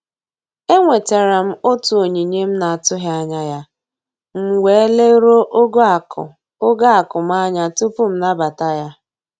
E nwetara m otu onyinye m na-atụghị anya ya, m wee leruo ogo akụ ogo akụ m anya tupu m nabata ya